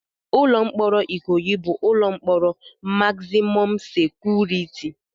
Ụlọ mkpọrọ Ikoyi bụ ụlọ mkpọrọ magzimọm sekuriti.